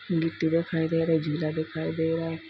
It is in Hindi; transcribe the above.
गिट्टी दिखाई दे रहा है झूला दिखाई दे रहा है।